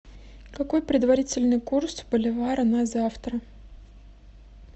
какой предварительный курс боливара на завтра